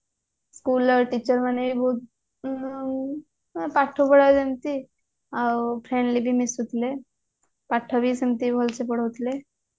school ଆଉ teacher ମାନେ ବି ବହୁତ ଆଁ ପାଠପଢା ଯେମିତି ଆଉ friend ବି ମିଶୁଥିଲେ ପାଠ ବି ସେମିତି ଭଲସେ ପଢଉଥିଲେ